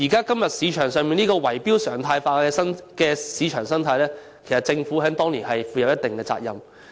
對於現時圍標常態化的市場生態，其實政府當年須負上一定責任。